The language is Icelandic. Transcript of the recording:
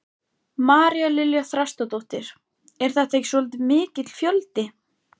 María Lilja Þrastardóttir: Er þetta ekki svolítið mikill fjöldi?